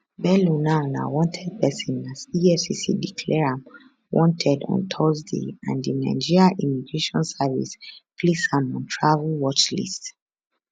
bello now na wanted person as efcc declare am wanted on thursday and di nigeria immigration service place am on travel watchlist